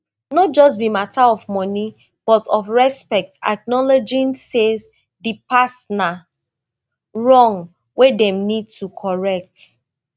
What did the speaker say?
no just be mata of money but of respect acknowledging say di past na wrong wey dem need to correct